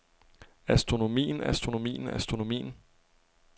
astronomien astronomien astronomien